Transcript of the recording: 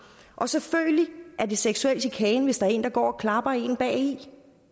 selvfølgelig er det seksuel chikane hvis der er en der går og klapper en bagi